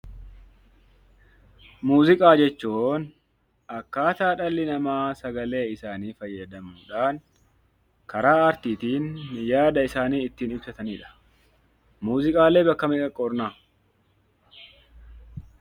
Muuziqaa jechuun akkaataa dhalli namaa sagalee isaanii fayyadamuudhaan karaa aartiitiin yaada isaanii ittiin ibsatani dha. Muuziqaalee bakka meeqatti qoodna?